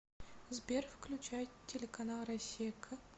сбер включай телеканал россия к